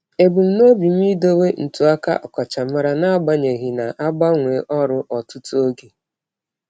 Ebumnobi m idowe ntụaka ọkachamara n'agbanyeghị na-agbanwe ọrụ ọtụtụ oge.